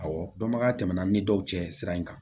Awɔ dɔnbagaya tɛmɛna ni dɔw cɛ sira in kan